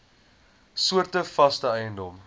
soorte vaste eiendom